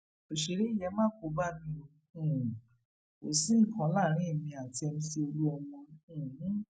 ọsẹrẹ yìí e ma kó bá mi bá mi o um kò sí nǹkan kan láàrin èmi àti mc olúmọ um